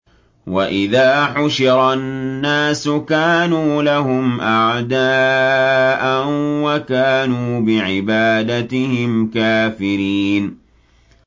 وَإِذَا حُشِرَ النَّاسُ كَانُوا لَهُمْ أَعْدَاءً وَكَانُوا بِعِبَادَتِهِمْ كَافِرِينَ